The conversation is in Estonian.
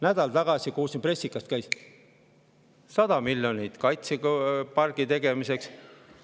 Nädal tagasi kuulsin pressikast, käis nips, ja 100 miljonit kaitsepargi tegemiseks.